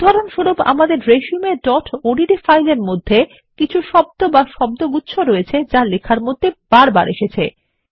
উদাহরণস্বরূপ আমাদের resumeওডিটি ফাইলের মধ্যে কিছু শব্দ বা শব্দগুচ্ছ রয়েছে যা লেখার মধ্যে বারবার এসেছে